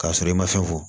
K'a sɔrɔ i ma fɛn fɔ